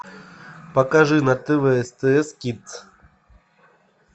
покажи на тв стс кидс